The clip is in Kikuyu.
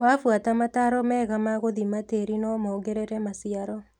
Wafuata mataro mega magũthima tĩrĩ nomongerere maciaro.